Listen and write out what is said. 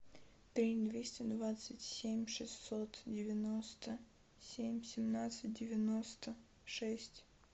три двести двадцать семь шестьсот девяносто семь семнадцать девяносто шесть